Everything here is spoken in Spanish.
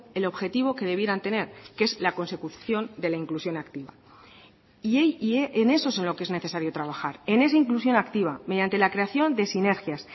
el objetivo que debieran tener que es la consecución de la inclusión activa y en eso es en lo que es necesario trabajar en esa inclusión activa mediante la creación de sinergias